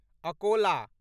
Akola